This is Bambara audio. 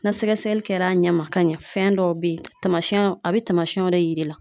Na sɛgɛsɛgɛli kɛra a ɲɛ ma ka ɲɛ fɛn dɔw be ye tamasɛnw a be taamasɛnw de yir'i la